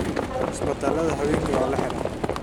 Istibaladha hawenki wala xiraa.